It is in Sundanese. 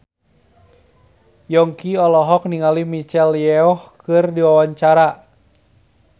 Yongki olohok ningali Michelle Yeoh keur diwawancara